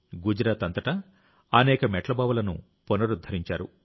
గుజరాత్ అంతటా అనేక మెట్ల బావులను పునరుద్ధరించారు